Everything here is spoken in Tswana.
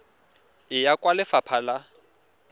e ya kwa lefapha la